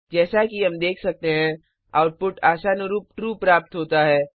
जैसा कि हम देख सकते हैं आउटपुट आशानुरूप ट्रू प्राप्त होता है